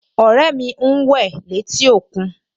Ọ̀rẹ́ mi ń wẹ̀ létí òkún